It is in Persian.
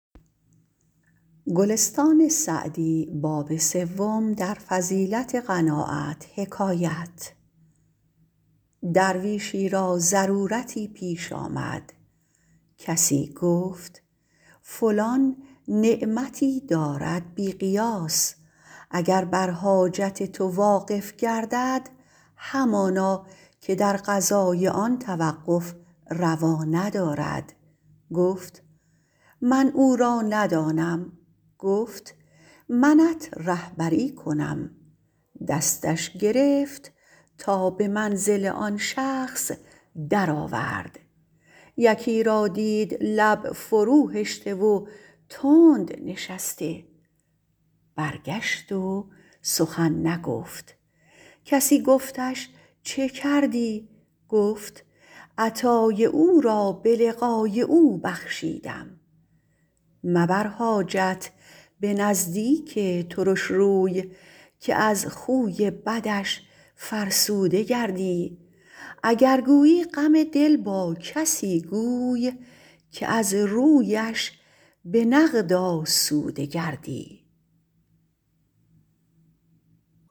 درویشی را ضرورتی پیش آمد کسی گفت فلان نعمتی دارد بی قیاس اگر بر حاجت تو واقف گردد همانا که در قضای آن توقف روا ندارد گفت من او را ندانم گفت منت رهبری کنم دستش گرفت تا به منزل آن شخص در آورد یکی را دید لب فرو هشته و تند نشسته برگشت و سخن نگفت کسی گفتش چه کردی گفت عطای او را به لقای او بخشیدم مبر حاجت به نزدیک ترش روی که از خوی بدش فرسوده گردی اگر گویی غم دل با کسی گوی که از رویش به نقد آسوده گردی